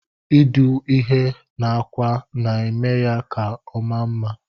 Idụ ihe na akwa na emeya ka ọma mma.